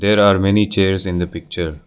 There are many chairs in the picture.